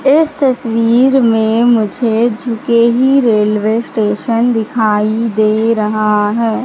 इस तस्वीर में मुझे झुके ही रेलवे स्टेशन दिखाई दे रहा है।